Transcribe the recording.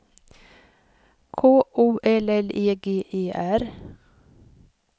K O L L E G E R